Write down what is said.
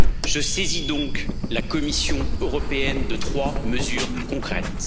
Je saisis donc la Commission européenne de trois mesures concrètes.